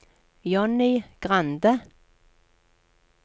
Johnny Grande